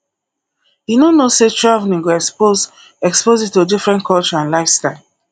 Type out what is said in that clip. you no know say traveling go expose expose you to different culture and lifestyle